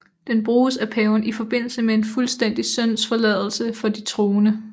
Den bruges af paven i forbindelse med en fuldstændig syndsforladelse for de troende